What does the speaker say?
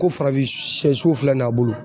Ko farafinsiyɛso filɛ nin y'a bolo